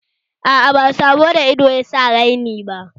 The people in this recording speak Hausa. Aa, ba sabo da ido yasa raini ba